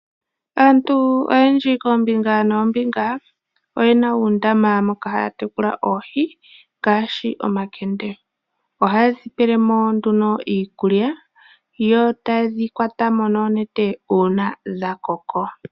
Aantu oyendji koombinga noombinga oyena uundama moka haya tekula oohi ngaashi omakende, ohaye dhi pele mo nduno iikulya yo taye dhi kwata mo noonete uuna dha koko.